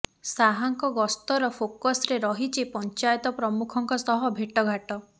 ଶାହାଙ୍କ ଗସ୍ତର ଫୋକସ୍ରେ ରହିଛି ପଞ୍ଚାୟତ ପ୍ରମୁଖଙ୍କ ସହ ଭେଟ୍ଘାଟ୍